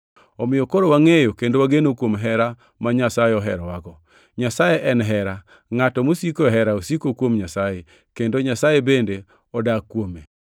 Omiyo koro wangʼeyo kendo wageno kuom hera ma Nyasaye oherowago. Nyasaye en hera. Ngʼato mosiko e hera osiko kuom Nyasaye, kendo Nyasaye bende odak kuome.